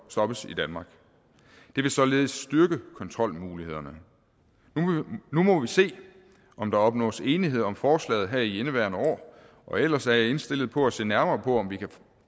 stoppes i danmark det vil således styrke kontrolmulighederne nu må vi se om der opnås enighed om forslaget her i indeværende år og ellers er jeg indstillet på at se nærmere på om vi kan